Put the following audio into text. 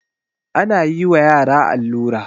ana yi wa yara allura